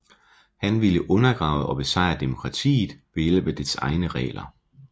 Han ville undergrave og besejre demokratiet ved hjælp af dets egne regler